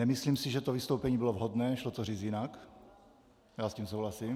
Nemyslím si, že to vystoupení bylo vhodné, šlo to říct jinak, já s tím souhlasím.